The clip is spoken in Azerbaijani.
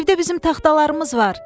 Evdə bizim taxtalarımız var.